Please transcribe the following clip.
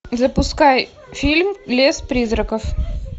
запускай фильм лес призраков